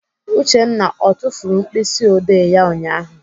Uchenna ọ tufuru mkpịsịodee ya ụnyaahụ?